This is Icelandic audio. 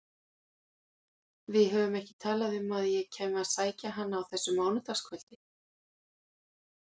Við höfðum ekki talað um að ég kæmi að sækja hana á þessu mánudagskvöldi.